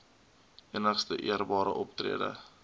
enigste eerbare optrede